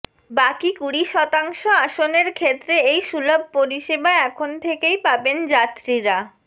বাকি কুড়ি শতাংশ আসনের ক্ষেত্রে এই সুলভ পরিষেবা এখন থেকেই পাবেন যাত্রীরা